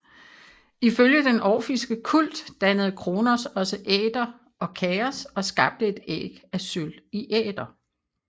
Ifølge den orfiske kult dannede Chronos også Æter og Kaos og skabte et æg af sølv i Æter